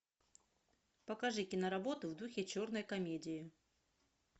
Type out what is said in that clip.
покажи киноработу в духе черной комедии